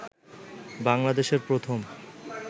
বাংলাদেশের প্রথম